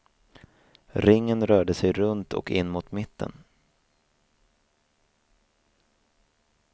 Ringen rörde sig runt och in mot mitten.